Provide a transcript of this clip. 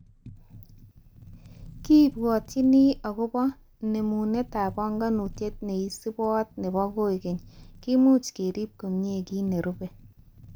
Kibwotini akobo nemunetab banganutiet neisubot nebo koikeny, kimoch kerub komie kit nerube